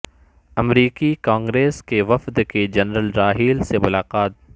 امریکی کانگریس کے وفد کی جنرل راحیل سے ملاقات